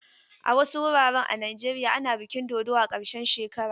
A wasu wuraren a Najeriya ana bikin dodo a karshen shekara.